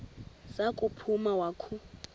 za kuphuma wakhu